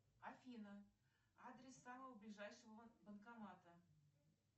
афина адрес самого ближайшего банкомата